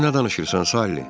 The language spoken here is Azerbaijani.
Sən nə danışırsan, Salli?